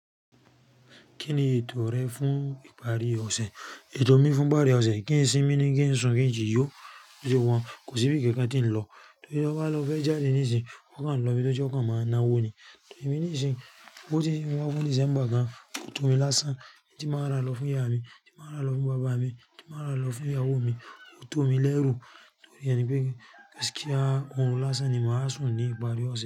Kí ni ètò rẹ fún ìparí ọ̀sẹ̀? Ètò mi fún ìparí ọ̀sẹ̀, kí n sìmí ní kí n sùn, kí n si yọ, torí bose wa un kò sí bí i kankan tí ń lọ. Torí lọ bá lọ fẹ́ jáde nísinsìn o kàn lọ ibi tó jẹ́ o kàn máa náwó ni. Torí èmi nísinsìnyí owó tí ń sin wa fun December gan, ó tó mi lásán, n tí màá rà lọ fún ìyá mi, tí màá rà lọ fún bàbá mi, tí màá rà lọ fún ìyàwó mi, ó tó mi lẹ́rù. Torí ẹ ni pé gaskia òrun lásán ni màá sùn ní ìparí ọ̀sẹ̀